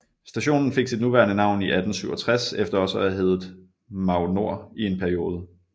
Stationen fik sit nuværende navn i 1867 efter også at have hedde Magnord i en periode